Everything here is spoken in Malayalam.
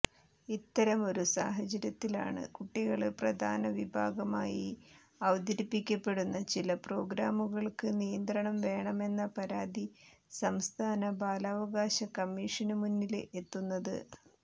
ഇത്തരമൊരു സാഹചര്യത്തിലാണ് കുട്ടികള് പ്രധാനവിഭാഗമായി അവതരിപ്പിക്കപ്പെടുന്ന ചില പ്രോഗ്രാമുകള്ക്ക് നിയന്ത്രണം വേണമെന്ന പരാതി സംസ്ഥാന ബാലാവകാശ കമ്മീഷനു മുന്നില് എത്തുന്നത്